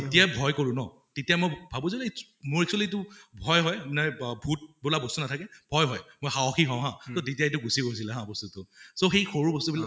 যেতিয়া ভয় কৰো ন তেতিয়া মই ভাবো যে মই actually এইটো ভয় হয় ভূত বোলা বস্তু নাথাকে, ভয় হয়। মই সাহসী হওঁ হা এইটো গুছি গৈছিলে হা বস্তুটো । so সেই সৰু বস্তু বিলাক